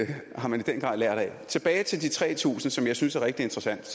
det har man i den grad lært af tilbage til de tre tusind som jeg synes er rigtig interessant